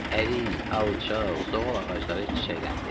Ərik, alça, zoğal ağacları çiçəkləndi.